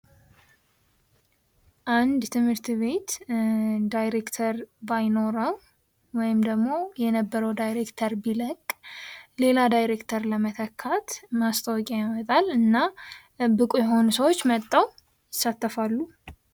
አንድ ትምህርት ቤት ዳይሬክተር ባይኖራል ወይም ደሞ የነበረው ዳይሬክተር ቢለቅ ሌላ ዳይሬክተር ለመተካት ማስታወቂያ ያወጣል እና ብቁ የሆኑ ሰዎች መጥተው ይሳተፋሉ።